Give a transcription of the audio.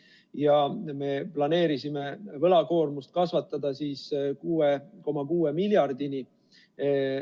Ja me planeerisime võlakoormust kasvatada siis 6,6 miljardini.